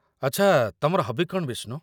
ଆଚ୍ଛା, ତମର ହବି କ'ଣ, ବିଷ୍ଣୁ?